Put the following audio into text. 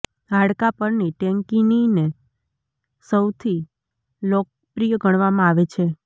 હાડકાં પરની ટેન્કીનીને સૌથી લોકપ્રિય ગણવામાં આવે છે